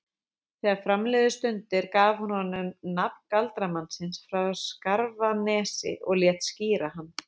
Þegar fram liðu stundir gaf hún honum nafn galdramannsins frá Skarfanesi og lét skíra hann